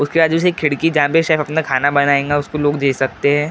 उसके बाद खिड़की जहां पर से अपना खाना बनेगा उसको लोग दे सकते है।